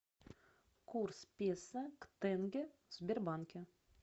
курс песо к тенге в сбербанке